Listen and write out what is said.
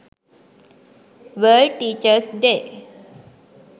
world teachers day